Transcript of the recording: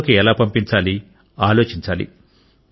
ప్రజలలోకి ఎలా పంపించాలి ఆలోచించాలి